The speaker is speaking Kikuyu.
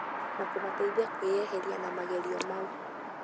na kũmateithia kwĩyeheria na magerio mau.